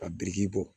Ka biriki bɔ